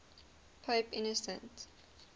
pope innocent